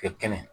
Kɛ kɛnɛ